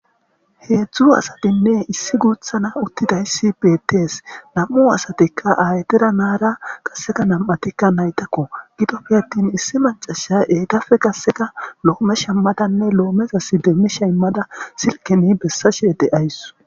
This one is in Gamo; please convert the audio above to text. Heedzdzu asatinne issi guuthana uttidayssi betees. Nam7u asatikka aytera naara qasseka nam7atikka naytakko .Gidoppe attin issi macasha eetafe qasseka loome shammadanne loomezasi deemmisha immadanne silkeni bessashee de7awus.